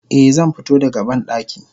Eh zanfito da ga bandaki.